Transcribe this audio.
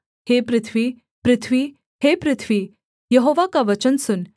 हे पृथ्वी पृथ्वी हे पृथ्वी यहोवा का वचन सुन